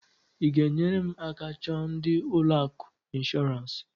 I g'enyere m aka chọọ ndị ụlọ akụ inshorance?